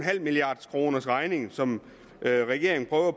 milliarderkronersregning som regeringen prøver